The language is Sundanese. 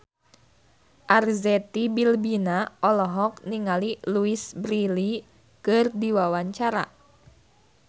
Arzetti Bilbina olohok ningali Louise Brealey keur diwawancara